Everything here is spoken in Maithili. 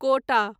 कोटा